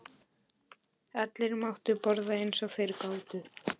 Allir máttu borða eins og þeir gátu.